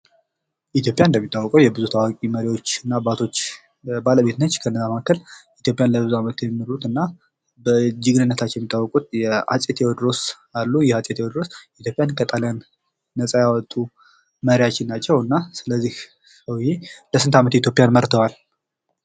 ኢትዮጵያ እንደሚታወቀው የብዙ መሪዎች እና አባታች ባለቤት ነች። ከነዛ መካከል ኢትዮጵያ ለብዙ አመት የመሩትና በጀግንነታቸው የሚያወቁት አጼ ቴወድሮስ አሉ። እንግዲህ አጼ ቴወድሮስ ኢትዮጵያን ከጣሊያን ነጻ ያወጡ መሪያችን ናቸው። እና ስለዚህ እኒህ ሰዉየ ለስንት አመት ኢትዮጵያን መርተዋል።